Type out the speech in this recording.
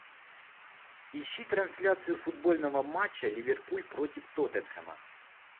ищи трансляцию футбольного матча ливерпуль против тоттенхэма